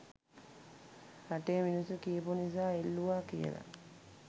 රටේ මිනිස්සු කියපු නිසා එල්ලුවා කියල.